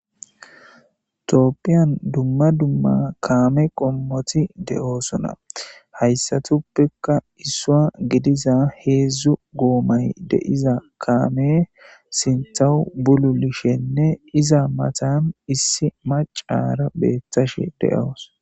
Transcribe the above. Toopphiyan dumma dumma kaame qommoti de7oosuna hayssatuppekka issua gidiza heedzdzu goomay deiza kaame sinthahu bululishenne iza matan issi macara beettashe de7awus